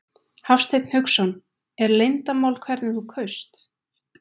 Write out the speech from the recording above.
Hafsteinn Hauksson: Er leyndarmál hvernig þú kaust?